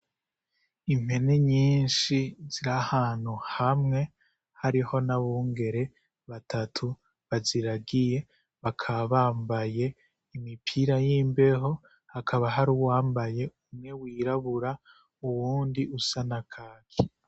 Impene nyinshi zirahantu hamwe hariho n'abungere batatu baziragiye bakaba bambaye imipira y'imbeho hakaba hari uwambaye umwe w'irabura uwundi usa na kaki.